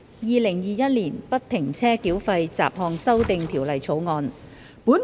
《2021年不停車繳費條例草案》。